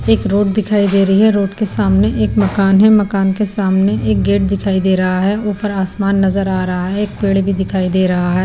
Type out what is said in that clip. एक रोड दिखाई दे रही है रोड के सामने एक मकान है मकान के सामने एक गेट दिखाई दे रहा है ऊपर आसमान नजर आ रहा है एक पेड़ भी दिखाई दे रहा है।